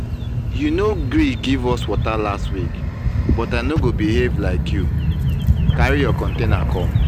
you no gree give us water last week but i no go behave like you. carry your container come.